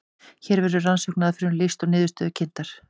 hér verður rannsóknaraðferðum lýst og niðurstöður kynntar